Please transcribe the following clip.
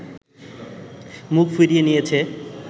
মুখ ফিরিয়ে নিয়েছে